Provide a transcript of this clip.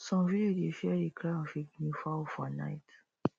some village dey fear the cry of a guinea fowl for night